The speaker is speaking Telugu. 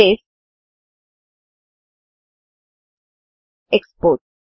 save export